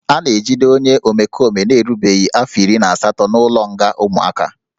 A na-ejide onye omekome na-erubeghị afọ iri na asatọ n'ụlọnga ụmụaka